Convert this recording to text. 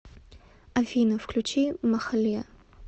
афина включи махалиа